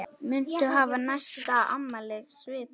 Muntu hafa næsta afmæli svipað?